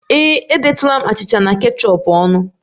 Ee e, edetụla m achịcha na kechọp n'ọnụ